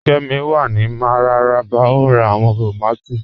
Kẹ́mí wà ní Mararaba o n rá awọn tómàtì